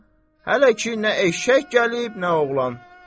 Hələ ki, nə eşşək gəlib, nə oğlan.